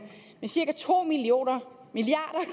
med cirka to milliard